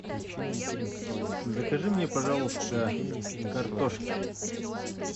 закажи мне пожалуйста картошки